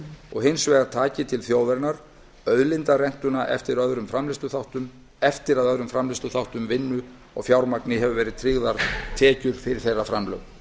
og taki hins vegar til þjóðarinnar auðlindarentuna eftir að öðrum framleiðsluþáttum vinnu og fjármagni hafa verið tryggðar tekjur fyrir þeirra framlög